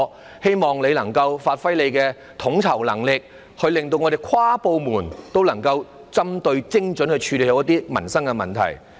我希望他能夠發揮統籌能力，使各部門能夠有針對性地、精準地處理民生問題。